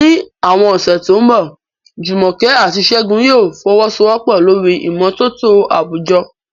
Ní àwọn ọ̀sẹ̀ tó ń bọ̀, Jumoke àti Segun yóò fọwọ́sowọ́pọ̀ lórí ìmọ́tótó àwùjọ